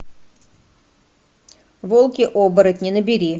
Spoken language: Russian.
волки оборотни набери